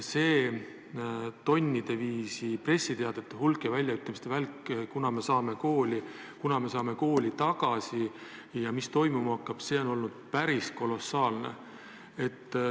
See tonnide viisi pressiteadete hulk ja väljaütlemiste välk, kunas me saame kooli tagasi ja mis toimuma hakkab, on olnud päris kolossaalne.